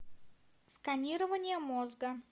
сканирование мозга